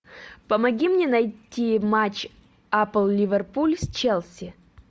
помоги мне найти матч апл ливерпуль с челси